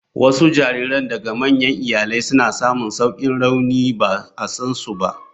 Wasu jariran daga manyan iyalai suna samun saukin rauni ba a san su ba.